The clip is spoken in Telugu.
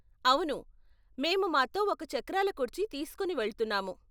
అవును, మేము మాతో ఒక చక్రాల కుర్చీ తీసుకొని వెళ్తున్నాము.